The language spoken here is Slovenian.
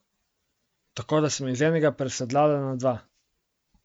Tako da sem iz enega, presedlala na dva.